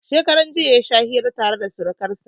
Shekaran jiya ya sha hira tare da surkansa.